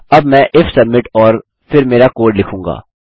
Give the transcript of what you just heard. अब मैं if submit और फिर मेरा कोड लिखूँगा